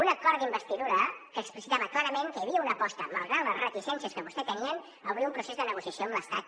un acord d’investidura que explicitava clarament que hi havia una aposta malgrat les reticències que vostès tenien a obrir un procés de negociació amb l’estat